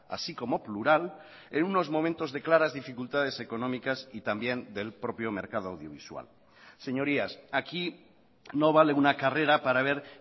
así como plural en unos momentos de claras dificultades económicas y también del propio mercado audiovisual señorías aquí no vale una carrera para ver